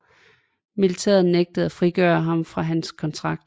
Militæret nægtede at frigøre ham fra hans kontrakt